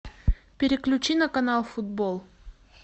переключи на канал футбол